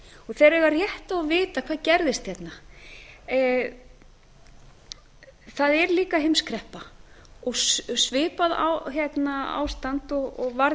þeir eiga rétt á að vita hvað gerðist hérna það er líka heimskreppa og svipað ástand og varð